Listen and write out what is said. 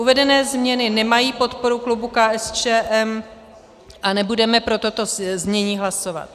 Uvedené změny nemají podporu klubu KSČM a nebudeme pro toto znění hlasovat.